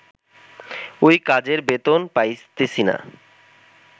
ওই কাজের বেতন পাইতেছিনা